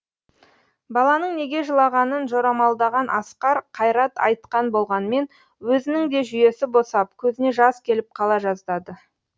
баланың неге жылағанын жорамалдаған асқар қайрат айтқан болғанмен өзінің де жүйесі босап көзіне жас келіп қала жаздады